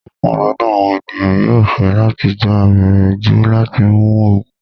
Púpọ̀ nínu awọn ènìyàn yóò fẹ́ latí gbà àbẹ̀rẹ̀ jù láti mún oogun